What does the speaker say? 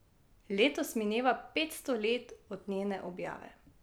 Letos mineva petsto let od njene objave.